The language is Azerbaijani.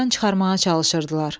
aradan çıxarmağa çalışırdılar.